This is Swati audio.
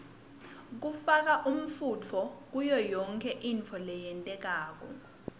kufaka umfunto kuyoyonkhe intfo loyentako